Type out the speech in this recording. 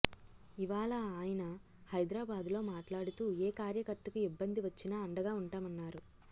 ఇవాళ ఆయన హైదరాబాద్లో మాట్లాడుతూ ఏ కార్యకర్తకు ఇబ్బంది వచ్చినా అండగా ఉంటామన్నారు